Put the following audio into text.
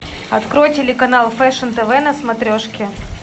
открой телеканал фэшн тв на смотрешке